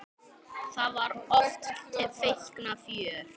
Þá var oft feikna fjör.